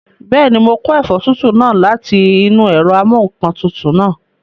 Bẹ́ẹ̀ni, mo kó ẹ̀fọ́ tútù náà láti inú ẹ̀rọ amúǹkantutù náà